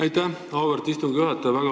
Aitäh, auväärt istungi juhataja!